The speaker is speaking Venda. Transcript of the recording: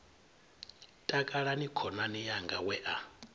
takalani khonani yanga we a